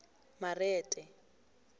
marete